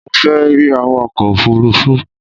Mo fẹ́ rí awakọ ofurufu